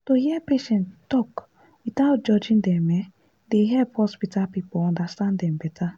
hear patients talk without judging dem e dey help hospital people understand dem better.